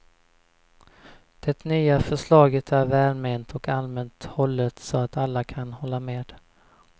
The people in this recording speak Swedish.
Det nya förslaget är välment och allmänt hållet så att alla kan hålla med.